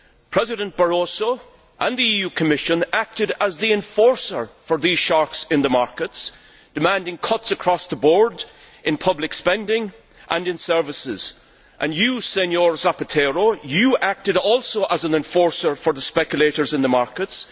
President Barroso and the EU Commission acted as the enforcer for these sharks in the markets, demanding cuts across the board in public spending and in services, and you too, Señor Zapatero, acted as an enforcer for the speculators in the markets.